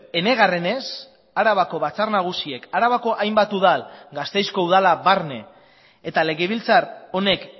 enegarrenez arabako batzar nagusiek arabako hainbat udal gasteizko udala barne eta legebiltzar honek